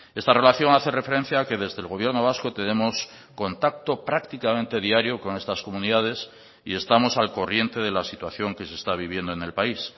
esta relación hace referencia que desde el gobierno vasco tenemos contacto prácticamente diario con estas comunidades y estamos al corriente de la situación que se está viviendo en el país